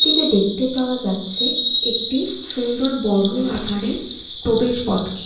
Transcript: যেটি দেখতে পাওয়া যাচ্ছে একটি সুন্দর বড় আকারে প্রবেশ পথকে।